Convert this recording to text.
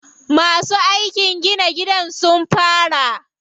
Masu aikin gina gidan sun fara.